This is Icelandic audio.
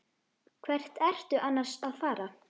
Hvert ertu annars að fara?